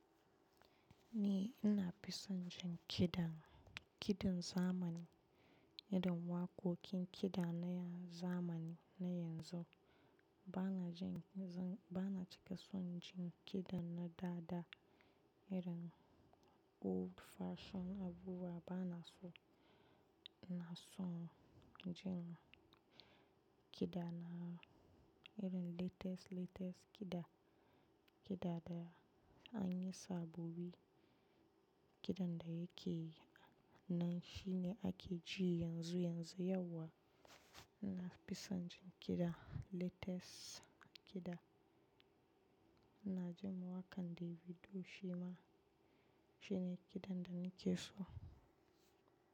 Ni ina fison jin kiɗan, kiɗan zamani, irin waƙoƙin kiɗa na zamani na yanzu. Bana jin, bana cika son jin kiɗan na dada irin old fashion abubuwa bana so. Ina son jin kiɗana irin latest, latest kiɗa, kiɗa da an yi sabobi. Kiɗan da yake nan shine ake ji yanzu yanzu, yauwa. Ina fison jin kiɗa latest kiɗa. Na ji waƙan Davido shima shine kiɗan da nake so.